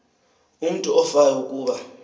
umutu ofayo kuba